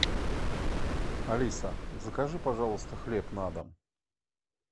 алиса закажи пожалуйста хлеб на дом